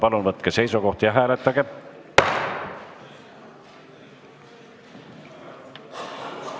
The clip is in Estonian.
Palun võtke seisukoht ja hääletage!